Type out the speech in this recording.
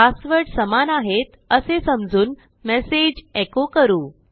password समान आहेत असे समजून मेसेज एको करू